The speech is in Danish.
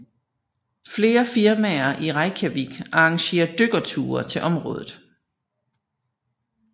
Flere firmaer i Reykjavik arrangerer dykkerture til området